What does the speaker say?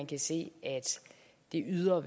kan se at det ydre